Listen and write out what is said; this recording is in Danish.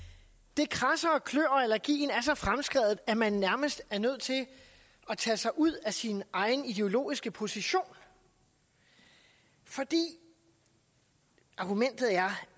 det kradser og klør og allergien er så fremskredet at man nærmest er nødt til at tage sig ud af sin egen ideologiske position for argumentet er